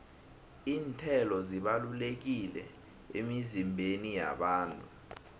iinthelo zibalulekile emizimbeni yabantu